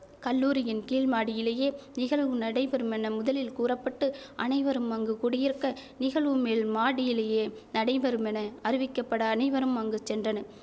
கல்லூரியின் கீழ் மாடியிலேயே நிகழ்வு நடைபெறுமென முதலில் கூற பட்டு அனைவரும் அங்கு குடியிருக்க நிகழ்வுமேல் மாடியிலேயே நடைபெறுமென அறிவிக்கப்பட அனைவரும் அங்கு சென்றனர்